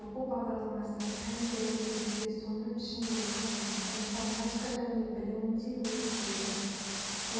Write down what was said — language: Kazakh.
оқу бағдарламасы пәндер негізінде соның ішінде экономика информатика және білімінде негізделеді